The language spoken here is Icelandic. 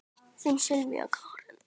Þín Sylvía Karen.